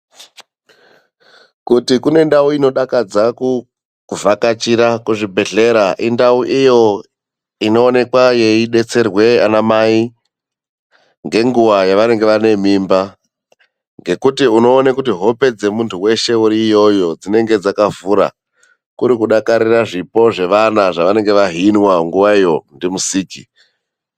Kuti kune ndau inodakadza kuvhakachira kuzvibhedhlera, indau iyo inoonekwa yeidetserwa ana mai ngenguwa yevanenge vane mimba. Ngekuti unoone kuti hope dzemunthu weshe uri iyoyo dzinenge dzakavhura. Kuri kudakarira zvipo zvevana zvevanenge vahinwa nguwayo, ndiMusiki.